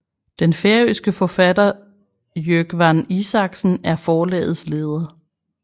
Den færøske forfatter Jógvan Isaksen er forlagets leder